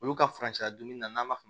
Olu ka furancɛ dun n'an ma